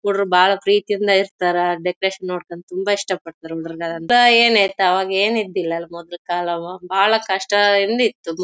ಪ್ರೀತಿಯಿಂದ ಇರತರೆ ಡೆಕೋರೇಷನ್ ನೋಡಿ ತುಂಬಾ ಇಷ್ಟ ಪಡ್ತರೆ ಮೊದ್ಲು ಕಾಲವು ಬಹಳ ಕಷ್ಟಇಂದ ಇತ್ತು--